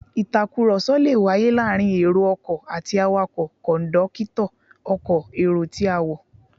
Ìtàkùrọ̀sọ lè wáyé láàárín èrò ọkọ̀ àti awakọ̀, kọ̀ńdọ́kítọ̀ ọkọ̀ èrò tí a, wọ́